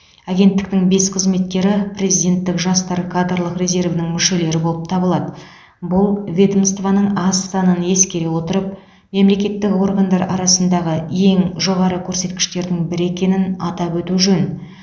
агенттіктің бес қызметкері президенттік жастар кадрлық резервінің мүшелері болып табылады бұл ведомствоның аз санын ескере отырып мемлекеттік органдар арасындағы ең жоғары көрсеткіштердің бірі екенін атап өту жөн